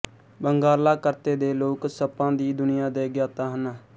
ਬੰਗਾਲਾ ਕਰਤੇ ਦੇ ਲੋਕ ਸੱਪਾਂ ਦੀ ਦੁਨੀਆ ਦੇ ਗਿਆਤਾ ਹਨ